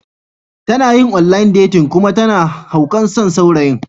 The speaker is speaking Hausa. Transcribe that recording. Tana yin online dating kuma tana haukan son saurayin.